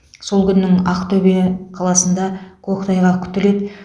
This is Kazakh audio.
сол күннің ақтөбе қаласында көктайғақ күтіледі